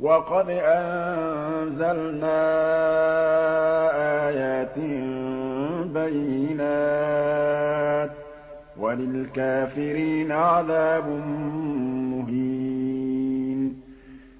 وَقَدْ أَنزَلْنَا آيَاتٍ بَيِّنَاتٍ ۚ وَلِلْكَافِرِينَ عَذَابٌ مُّهِينٌ